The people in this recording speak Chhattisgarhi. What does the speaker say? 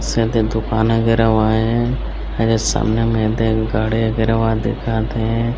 शायद ए दुकान अगेरवा ए अउ ये सामने में एदे एक गाड़ी वगेरवा दिखत हे।